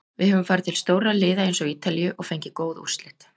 Við höfum farið til stórra liða eins og Ítalíu og fengið góð úrslit.